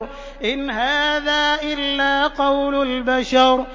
إِنْ هَٰذَا إِلَّا قَوْلُ الْبَشَرِ